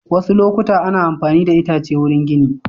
Wasu lokuta ana mafani da itace wurin gini.